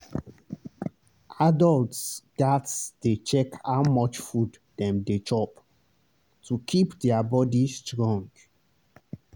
adults gats dey check how much food dem dey chop to keep their body strong.